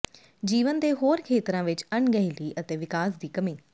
ਜੀਵਨ ਦੇ ਹੋਰ ਖੇਤਰਾਂ ਵਿੱਚ ਅਣਗਹਿਲੀ ਅਤੇ ਵਿਕਾਸ ਦੀ ਕਮੀ